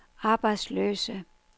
arbejdsløse